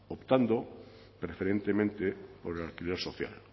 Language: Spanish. optando preferentemente por el alquiler social